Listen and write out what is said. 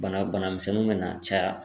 Bana bana misɛnninw be na caya.